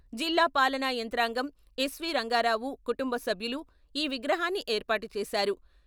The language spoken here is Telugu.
జిల్లా పాలనా యంత్రాంగం, ఎస్ వి రంగారావు కుటుంబ సభ్యులు ఈ విగ్రహాన్ని ఏర్పాటు చేశారు.